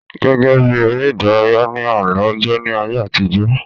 Gẹ́gẹ́bí ère ìdárayá ni àálọ́ jẹ́ ní ayé àtijọ́